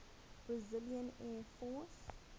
brazilian air force